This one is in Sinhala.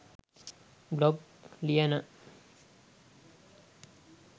බ්ලොග් ලියන